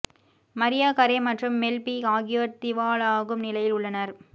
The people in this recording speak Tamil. மரியா கரே மற்றும் மெல் பீ ஆகியோர் திவாலாகும் நிலையில் உள்ளனர்